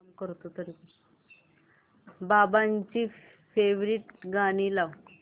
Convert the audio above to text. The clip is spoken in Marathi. बाबांची फेवरिट गाणी लाव